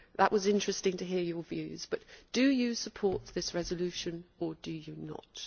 It was interesting to hear your views, but do you support this resolution or do you not?